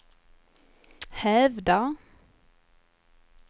hävdar